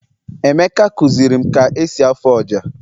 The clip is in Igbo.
emeka kuzirim ka esi afụ ọjà